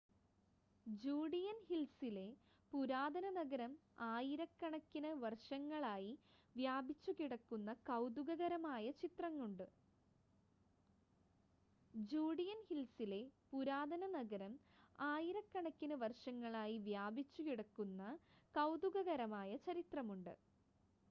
Judean ഹിൽസിലെ പുരാതന നഗരം ആയിരക്കണക്കിന് വർഷങ്ങളായി വ്യാപിച്ചുകിടക്കുന്ന കൗതുകകരമായ ചരിത്രമുണ്ട്